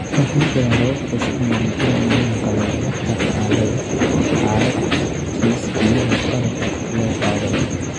Waxaa jira habab xusid mudan in loolankan loola tacaalayo xaalad-kiis iyadoo qalabka kor loo qaadayo.